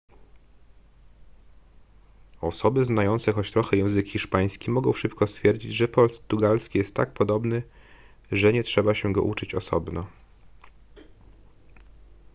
osoby znające choć trochę język hiszpański mogą szybko stwierdzić że portugalski jest tak podobny że nie trzeba się go uczyć osobno